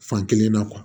Fankelen na